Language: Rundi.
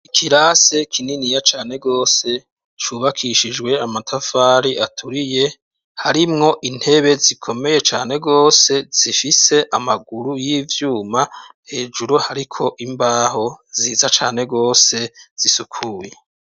Ikirase kininiya cane gose cubakishijwe amatafari aturiye, harimwo intebe zikomeye cane gose zifise amaguru y'ivyuma, hejuru hariko imbaho nziza cane gose zisukuye.